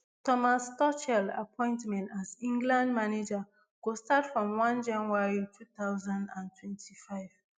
thomas tuchel appointment as england manager go start from one january two thousand and twenty-five